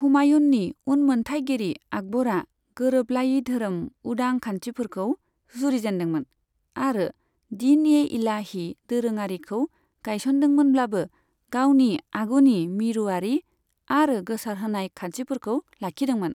हुमायुननि उनमोनथाइगिरि आकबरा गोरोबलायै धोरोम उदां खान्थिफोरखौ जुरिजेन्दोंमोन आरो दीन ए इलाही दोरोङारिखौ गायसनदोंमोनब्लाबो, गावनि आगुनि मिरुयारि आरो गोसारहोनाय खान्थिफोरखौ लाखिदोंमोन।